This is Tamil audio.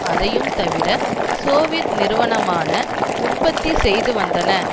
அதையும் தவிர சோவியத் நிறுவனமான உற்பத்தி செய்து வந்தன